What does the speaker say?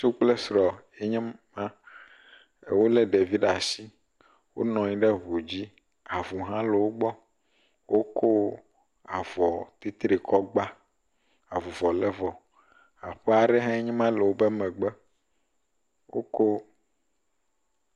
Ŋutsu kple sr ye nye ma. Wo le ɖevi ɖe asi. Wonɔ anyi ɖe ŋu dzi. Avu hã le wogbɔ. Wokɔ avɔ tritri kɔ gba. Avuvɔ le vɔ. Aƒe aɖe hãe ma le woƒe megbe. Wokɔ………..